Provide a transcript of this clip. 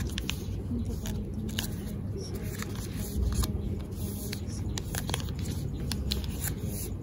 Inta badan, timuhu waxay ka soo daataan meelo yaryar oo wareegsan oo madaxa ku yaal.